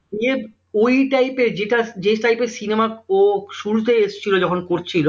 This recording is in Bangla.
ওই type এর যেটা যে type এর cinema ও শুরুতেই এসেছিল যখন করছিল